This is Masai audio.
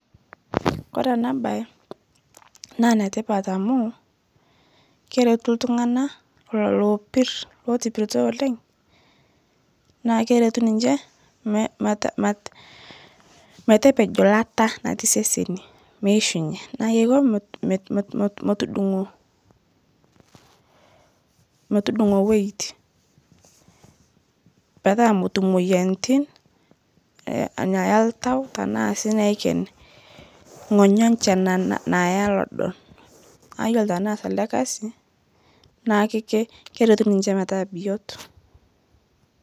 Kore ena bae naa enetipat amuu keretu iltung'ana lelo oopir lootopirito oleng' naa keretu ninche mete metepejo ilata natii iseseni meishunye naaah keiko metu metudung'o weight, petaa metum imoyaritin eeh enaa noltau tenaa sii neiken ing'onyo enche naaya lodo naaiyolo teneas ele kasi naah ke keretu ninche metaa biot.